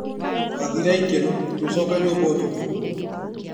Twathire ikeno tũgĩcoka nyũmba ũtukũ.